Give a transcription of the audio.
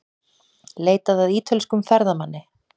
Leitað að ítölskum ferðamanni